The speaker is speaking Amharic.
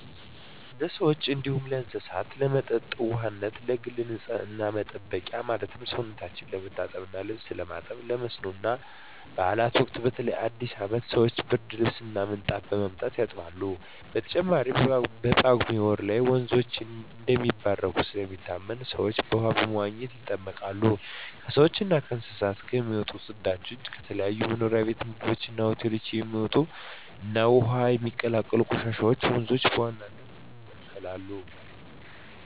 ለሰዎች እንዲሁም ለእስሳት ለመጠጥ ውሃነት፣ ለግል ንፅህና መጠበቂያ ማለትም ሰውነታቸው ለመታጠብ እና ልብስ ለማጠብ፣ ለመስኖ እና ባእላት ወቅት በተለይ በአዲስ አመት ሰወች ብርድልብስ እና ምንጣፍ በማምጣት ያጥባሉ። በተጨማሪም በጳጉሜ ወር ላይ ወንዞች እንደሚባረኩ ስለሚታመን ሰወች በውሃው በመዋኘት ይጠመቃሉ። ከሰውች እና ከእንስሳት የሚወጡ ፅዳጆች፣ ከተለያዩ መኖሪያ ቤት ምግብ ቤት እና ሆቴሎች የሚወጡ እና ወደ ውሀው የሚቀላቀሉ ቆሻሻወች ወንዞችን በዋናነት ይበክላሉ።